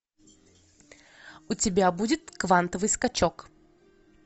у тебя будет квантовый скачок